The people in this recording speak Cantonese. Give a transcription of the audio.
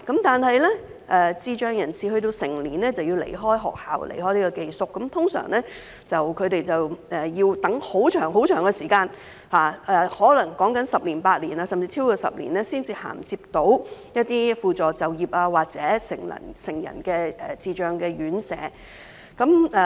但是，當智障人士成年便要離開學校，離開宿舍，他們一般要等候很長時間，可能是十年八載，甚至超過10年才能銜接一些輔助就業服務或成人智障院舍。